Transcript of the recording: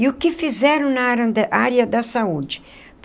E o que fizeram na área da área da saúde?